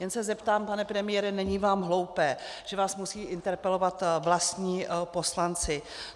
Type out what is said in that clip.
Jen se zeptám, pane premiére - není vám hloupé, že vás musejí interpelovat vlastní poslanci?